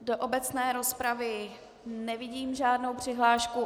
Do obecné rozpravy nevidím žádnou přihlášku.